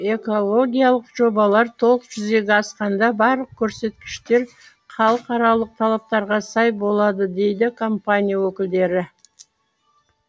экологиялық жобалар толық жүзеге асқанда барлық көрсеткіштер халықаралық талаптарға сай болады дейді компания өкілдері